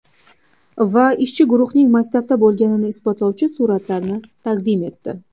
Va ishchi guruhning maktabda bo‘lganini isbotlovchi suratlarni taqdim etdi.